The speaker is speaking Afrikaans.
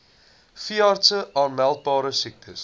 veeartse aanmeldbare siektes